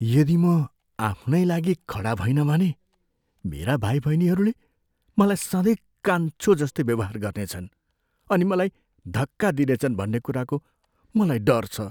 यदि म आफ्नै लागि खडा भइनँ भने मेरा भाइबहिनीहरूले मलाई सँधै कान्छो जस्तै व्यवहार गर्नेछन् अनि मलाई धक्का दिनेछन् भन्ने कुराको मलाई डर छ।